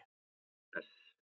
S